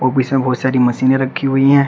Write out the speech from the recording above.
इसमें बहुत सारी मशीने रखी हुई है।